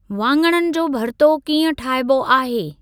वाङण जो भर्तो कीअं ठाहिबो आहे?